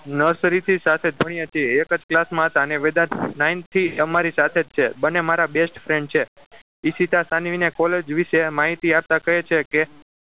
Nursery થી સાથે જ ભણ્યા છીએ એક જ class માં હતા અને વેદાંત ninth થી અમારી સાથે જ છે બંને મારા best friend છે ઈશિતા સાનવીને college વિશે માહિતી આપતા કહે છે કે